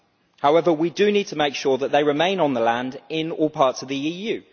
However, we do need to make sure that farmers remain on the land in all parts of the EU.